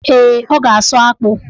Ee, ọ ga-asụ akpụ.